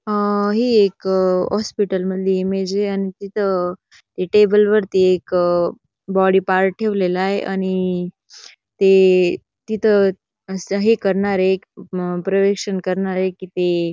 अ ही एक अह हॉस्पिटल मधली इमेज य आणि तिथ ते टेबल वरती एक अह बॉडी पार्ट ठेवलेलाय आणि ते तिथ अस हे करणारय एक प्रर्यवेक्षण करणारय की ते--